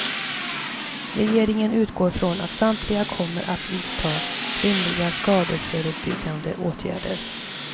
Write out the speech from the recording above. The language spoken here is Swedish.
Regeringen utgår från att samtliga kommer att vidta rimliga skadeförebyggande åtgärder.